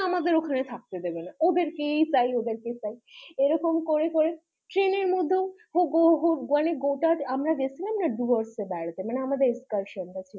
আমাদের ওখানে থাকতে দেবেনা ওদের কেই চাই, ওদের কেই চাই এরকম করে করেও train এর মধ্যেও আমরা গেছিলাম Dooars এ বেড়াতে মানে আমাদের excursion টা ছিল